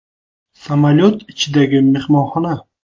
Samolyot ichidagi mehmonxona .